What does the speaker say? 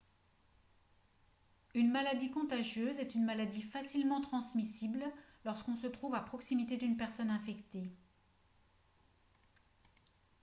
une maladie contagieuse est une maladie facilement transmissible lorsqu'on se trouve à proximité d'une personne infectée